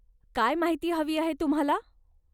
काय माहिती हवी आहे तुम्हाला?